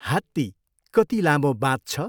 हात्ती कति लामो बाँच्छ?